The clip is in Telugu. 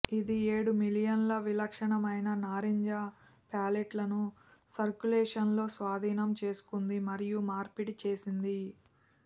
ఇది ఏడు మిలియన్ల విలక్షణమైన నారింజ ప్యాలెట్లను సర్క్యులేషన్లో స్వాధీనం చేసుకుంది మరియు మార్పిడి చేసింది